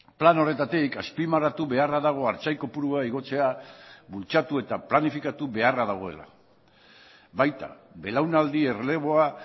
plan horretatik azpimarratu beharra dago artzain kopurua igotzea bultzatu eta planifikatu beharra dagoela baita belaunaldi erreleboa